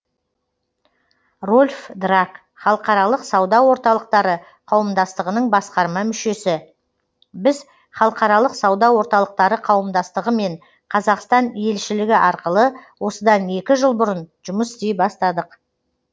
рольф драак халықаралық сауда орталықтары қауымдастығының басқарма мүшесі біз халықаралық сауда орталықтары қауымдастығымен қазақстан елшілігі арқылы осыдан екі жыл бұрын жұмыс істей бастадық